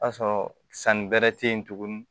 O y'a sɔrɔ sanni bɛrɛ tɛ yen tugun